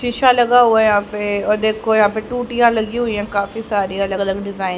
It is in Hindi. शीशा लगा हुआ है यहां पे और देखो यहां पे टूटियां लगी हुई हैं काफी सारी अलग अलग डिजाइन --